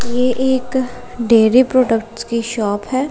ये एक dairy products की शॉप है।